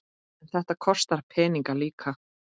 En þetta kostar peninga líka?